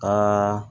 Ka